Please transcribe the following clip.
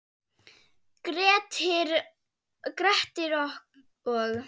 Grettir og